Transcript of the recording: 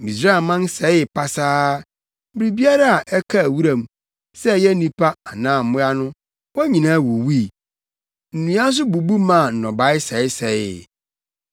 Misraimman sɛee pasaa. Biribiara a ɛkaa wuram, sɛ ɛyɛ nnipa anaa mmoa no, wɔn nyinaa wuwui. Nnua nso bubu maa nnɔbae sɛesɛee.